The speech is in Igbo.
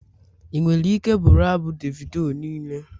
Ị nwere ike bụrụ abụ Davido niile?